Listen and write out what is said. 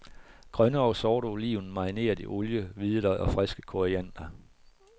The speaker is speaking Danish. Grønne og sorte oliven marineret i olie, hvidløg og friske koriander.